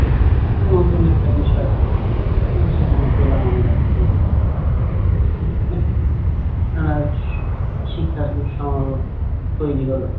উম নতুন একটা বিষয় উহ সেখানে পেলাম আমরা যে এক মিনিট আহ শিক্ষার সমারোহো তৈরী হলো